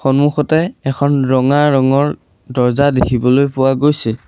সন্মুখতে এখন ৰঙা ৰঙৰ দৰ্জা দেখিবলৈ পোৱা গৈছে।